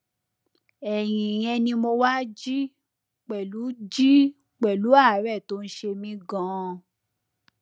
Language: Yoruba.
ẹyìn ìyẹn ni mo wá jí pẹlú jí pẹlú àárẹ tó ń ṣe mí ganan